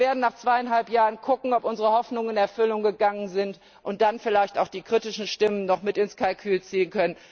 Und wir werden nach zweieinhalb Jahren sehen, ob unsere Hoffnungen in Erfüllung gegangen sind, und dann können wir vielleicht auch die kritischen Stimmen noch mit ins Kalkül ziehen.